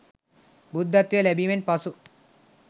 බුද්ධත්වය ලැබීමෙන් පසු